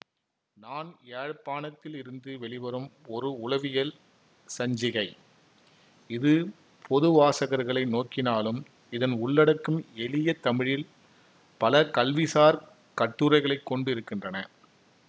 நான் யாழ்ப்பாணத்தில் இருந்து வெளிவரும் ஒரு உளவியல் சஞ்சிகை இது பொது வாசகர்களை நோக்கினாலும் இதன் உள்ளடக்கம் எளிய தமிழில் பல கல்விசார் கட்டுரைகளை கொண்டு இருக்கின்றன